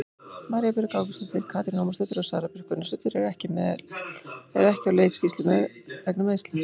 María Björg Ágústsdóttir, Katrín Ómarsdóttir og Sara Björk Gunnarsdóttir eru ekki á leikskýrslu vegna meiðsla.